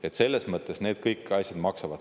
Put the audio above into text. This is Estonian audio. Kõik need asjad selles mõttes maksavad.